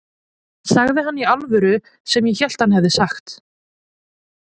Sagði hann í alvöru það sem ég hélt að hann hefði sagt?